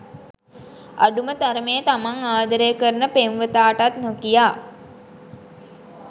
අඩුම තරමේ තමන් ආදරය කරන පෙම්වතාටත් නොකියා